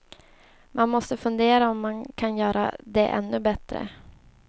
Man måste fundera om man kan göra det ännu bättre.